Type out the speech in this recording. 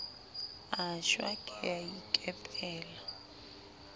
a shwa ke a ikepela